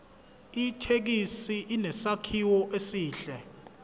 ithekisi inesakhiwo esihle